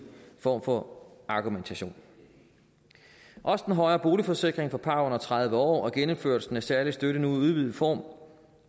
form for argumentation også den højere boligsikring for par under tredive år og genindførelsen af særlig støtte nu i udvidet form